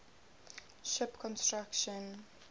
ship construction